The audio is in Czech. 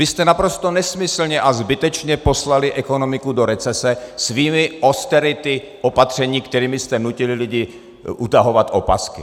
Vy jste naprosto nesmyslně a zbytečně poslali ekonomiku do recese svými austerity, opatřeními, kterými jste nutili lidi utahovat opasky.